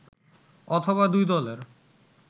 অথবা দুই দলের